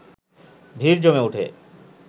ভিড় জমে উঠে